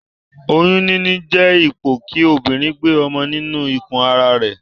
Oyún níní jé ipò kí obìrin gbe ọmọ nínu ikù ara rè